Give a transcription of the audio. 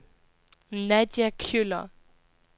Nadia Kjøller